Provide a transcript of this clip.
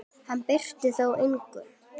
Hann breytti þó engu.